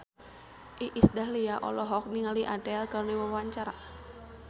Iis Dahlia olohok ningali Adele keur diwawancara